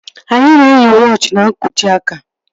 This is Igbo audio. Anyị na-eyi wọochi n'nkwojiaka